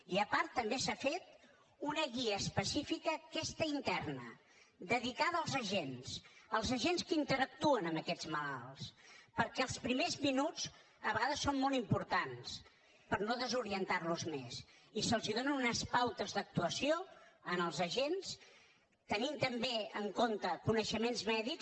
i a part també s’ha fet una guia específica aquesta interna dedicada als agents als agents que interactuen amb aquests malalts perquè els primers minuts a vegades són molt importants per no desorientar los més i se’ls dona unes pautes d’actuació als agents tenint també en compte coneixements mèdics